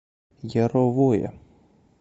яровое